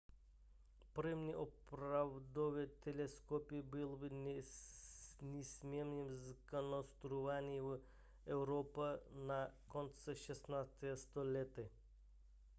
první opravdové teleskopy byly nicméně zkonstruovány v evropě na konci 16. století